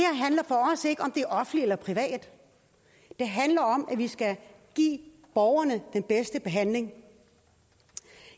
er offentligt eller privat det handler om at vi skal give borgerne den bedste behandling